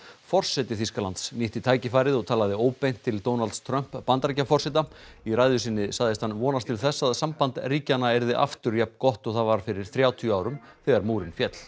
forseti Þýskalands nýtti tækifærið og talaði óbeint til Donalds Trump Bandaríkjaforseta í ræðu sinni sagðist hann vonast til þess að samband ríkjanna yrði aftur jafn gott og það var fyrir þrjátíu árum þegar múrinn féll